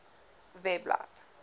webblad